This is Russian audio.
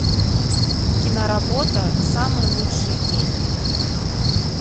киноработа самый лучший день